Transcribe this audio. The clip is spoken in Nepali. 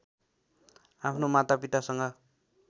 आफ्नो माता पितासँग